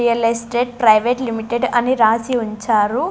Real estate private limited అని రాసి ఉంచారు.